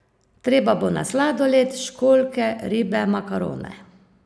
Treba bo na sladoled, školjke, ribe, makarone.